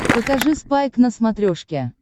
покажи спайк на смотрешке